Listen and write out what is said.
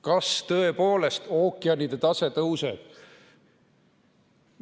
Kas tõepoolest ookeanide tase tõuseb?